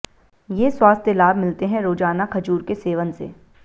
ये स्वास्थ्य लाभ मिलते हैं रोजाना खजूर के सेवन से